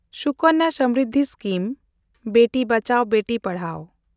Sukanya Samriddhi scheme – Beti Bachao Beti Padhao